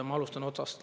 Ma alustan otsast.